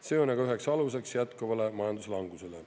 See on aga üheks aluseks jätkuvale majanduslangusele.